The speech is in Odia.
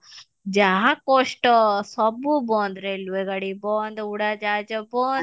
ଯାହା କଷ୍ଟ ସବୁ ବନ୍ଦ railway ଗାଡି ବନ୍ଦ ଉଡାଜାହାଜ ବନ୍ଦ